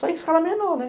Só em escala menor, né?